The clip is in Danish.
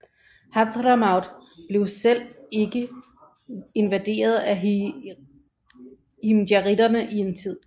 Hadhramaut blev selv ikke invaderet af himjarittene en tid